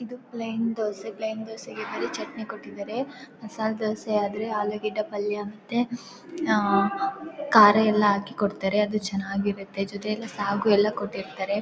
ಇದು plain dosa plain ದೋಸೆಗೆ ಬರೀ ಚಟ್ನಿ ಕೊಟ್ಟಿದ್ದಾರೆ ಮಸಾಲ ದೋಸೆ ಆದ್ರೆ ಆಲೂಗಡ್ಡೆ ಪಲ್ಯ ಮತ್ತೆ ಕಾರ ಎಲ್ಲ ಹಾಕಿ ಕೊಡ್ತಾರೆ ಅದು ಚೆನ್ನಾಗಿರುತ್ತೆ ಜೊತೆಯಲ್ಲಿ ಸಾಗು ಕೊಟ್ಟಿರುತ್ತಾರೆ.